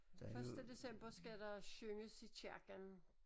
Første december skal der synges i kirken